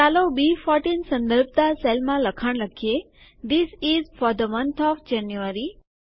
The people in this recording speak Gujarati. ચાલો બી14 સંદર્ભતા સેલમાં લખાણ લખીએ this is for the month of January